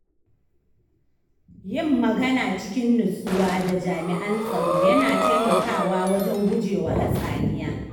Yin magana cikin nutsuwa da jami’an tsaro yana taimakawa wajen gujewa hatsaniya.